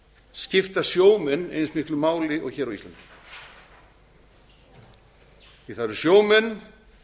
skipta sjómenn eins miklu máli og hér á íslandi því það eru sjómenn